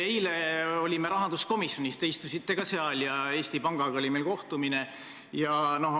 Eile olime rahanduskomisjonis, te istusite ka seal, ja meil oli kohtumine Eesti Pangaga.